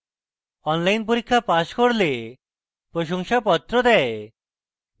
online পরীক্ষা pass করলে প্রশংসাপত্র দেয়